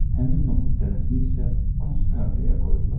Həmin noxud dənəsini isə Kunstkameraya qoydular.